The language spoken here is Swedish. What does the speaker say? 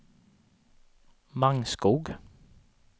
Mangskog